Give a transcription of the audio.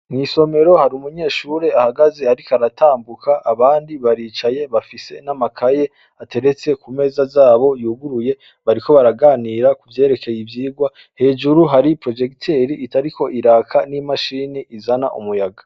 Isomero hari umunyeshure ahagaze ariko aratambuka abandi baricaye bafise amakaye ateretse kumeza zabo yuguruye bariko baraganira kuvyerekeye ivyirwa hejuru hari porojegiteri itariko itaka ni mashini izana umuyaga.